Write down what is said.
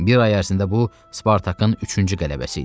Bir ay ərzində bu Spartakın üçüncü qələbəsi idi.